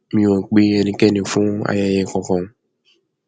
mi ò pe ẹnikẹni fún ayẹyẹ kankan